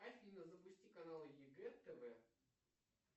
афина запусти канал егэ тв